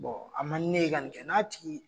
a man donnen ye ka ka nin kɛ k'a tigi